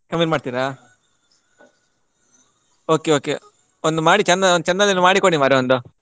ಕಮ್ಮಿಯಲ್ಲಿ ಮಾಡ್ತೀರಾ? Okay okay ಒಂದು ಮಾಡಿ ಚಂದ~ ಒಂದು ಚಂದದಲ್ಲಿ ಮಾಡಿಕೊಡಿ ಮಾರ್ರೆ ಒಂದು.